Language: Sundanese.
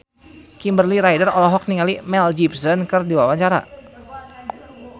Kimberly Ryder olohok ningali Mel Gibson keur diwawancara